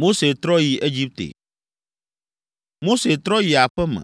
Mose trɔ yi aƒe me;